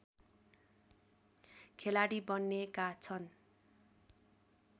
खेलाडी बन्नेका छन्